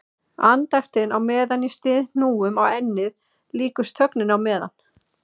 Andaktin á meðan ég styð hnúum á ennið líkust þögninni á meðan